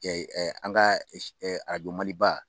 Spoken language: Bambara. An ka arajo maliba